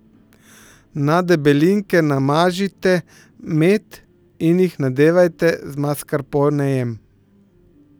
Na debelinke namažite med in jih nadevajte z maskarponejem.